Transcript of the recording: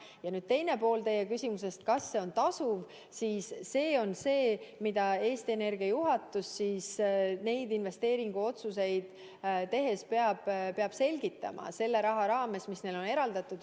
Ja teine pool teie küsimusest, kas see on tasuv, see on see pool, mida neid investeeringuotsuseid tehes peab selle raha raames, mis neile on eraldatud, selgitama Eesti Energia juhatus.